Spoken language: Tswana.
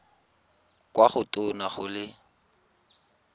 kwa go tona go le